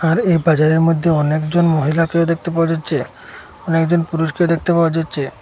আর এই বাজারের মইধ্যে অনেকজন মহিলাকেও দেখতে পাওয়া যাচ্ছে অনেকজন পুরুষকে দেখতে পাওয়া যাচ্ছে।